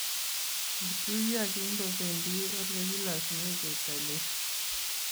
Kituiyo kingobendi olekilosune cheptailel